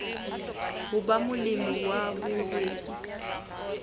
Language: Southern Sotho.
ho ba molemi wa mohwebi